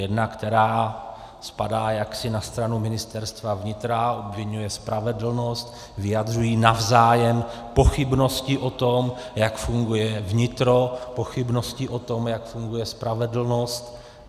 Jedna, která spadá jaksi na stranu Ministerstva vnitra, obviňuje spravedlnost, vyjadřují navzájem pochybnosti o tom, jak funguje vnitro, pochybnosti o tom, jak funguje spravedlnost.